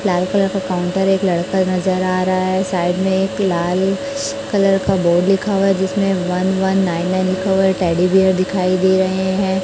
लाल colour का counter एक लड़का नजर आ रहा है साइड में एक लाल कलर का बोर्ड लिखा हुआ जिसमें वन वन नाइन नाइन लिखा हुआ टैडी बीयर दिखाई दे रहे हैं।